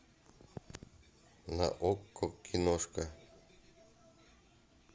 на окко киношка